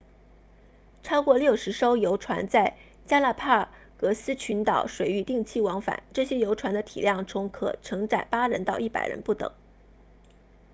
超过60艘游船在加拉帕戈斯群岛 galapagos 水域定期往返这些游船的体量从可承载8人到100人不等